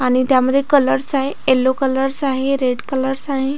आणि त्यामध्ये कलर्स आहे येलो कलर्स आहे रेड कलर्स आहे